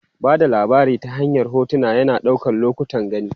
Ba da labari ta hanyar hotuna, yana ɗaukar lokutan gani.